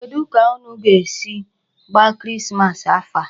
Kedụ ka unu ga-esi gbaa Christmas afọ a?